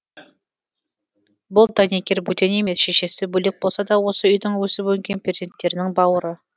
бұл дәнекер бөтен емес шешесі бөлек болса да осы үйдің өсіп өнген перзенттерінің бауыры